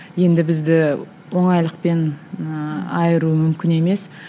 енді бізді оңайлықпен ыыы айыру мүмкін емес